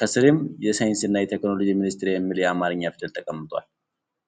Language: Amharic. ከስርም የሳይንስና ቴክኖሎጂ ሚኒስቴር የሚል የአማርኛ ፊደል ተቀምጧል።